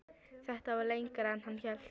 Þetta var lengra en hann hélt.